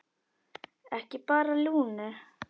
Ekki bara Lúnu.